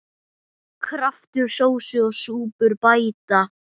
Kraftur sósu og súpur bæta.